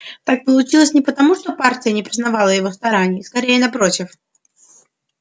так получилось не потому что партия не признавала его стараний скорее напротив